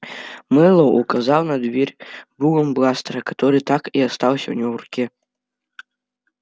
мэллоу указал на дверь дулом бластера который так и остался у него в руке